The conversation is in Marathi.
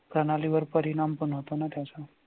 प्रणालीवर परिणाम पण हो तो ना त्याचा